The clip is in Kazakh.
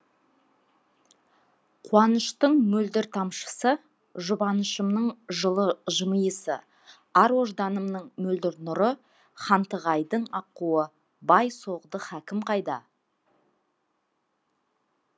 қуаныштың мөлдір тамшысы жұбанышымның жылы жымиысы ар ожданымның мөлдір нұры хантығайдың аққуы бай соғды хакім қайда